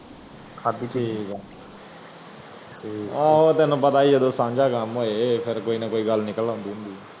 ਅੱਛਾ ਠੀਕ ਹੈ ਆਹ ਤੈਨੂੰ ਪਤਾ ਹੀ ਹੈ ਤੈਨੂੰ ਪਤਾ ਹੀ ਸੰਜੈ ਕਾਮ ਹੋਏ ਕੋਈ ਨੀ ਕੋਈ ਗੱਲ ਨਿਕਲ ਆਂਦੀ ਆਉਂਦੀ ਹੈ